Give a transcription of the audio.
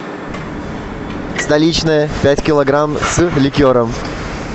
столичная пять килограмм с ликером